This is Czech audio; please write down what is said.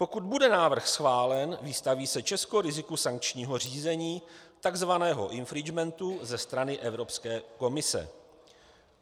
Pokud bude návrh schválen, vystaví se Česko riziku sankčního řízení, takzvaného infringementu, ze strany Evropské komise.